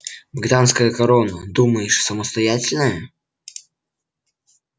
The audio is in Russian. британская корона думаешь самостоятельная